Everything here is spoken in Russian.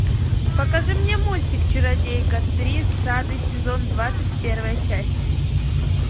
покажи мне мультик чародейка тридцатый сезон двадцать первая часть